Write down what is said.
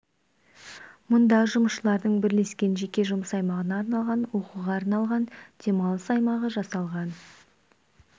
мұнда жұмысшылардың бірлескен жеке жұмыс аймағына арналған оқуға арналған демалыс аймағы жасалған